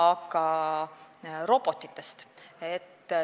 Aga nüüd robotitest.